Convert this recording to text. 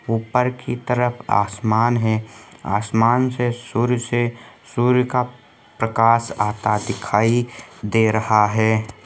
ऊपर की तरफ़ आसमान है आसमान से सूर्य से सूर्य का प्रकाश आता दिखाई दे रहा हे।